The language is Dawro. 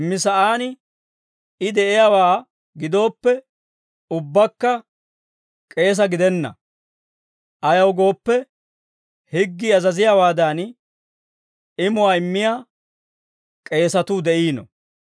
Simmi sa'aan I de'iyaawaa gidooppe, ubbakka k'eesa gidenna; ayaw gooppe, higgii azaziyaawaadan, imuwaa immiyaa k'eesatuu de'iino.